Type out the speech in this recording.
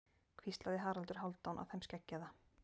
hvíslaði Haraldur Hálfdán að þeim skeggjaða.